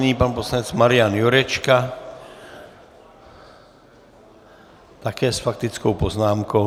Nyní pan poslanec Marian Jurečka, také s faktickou poznámkou.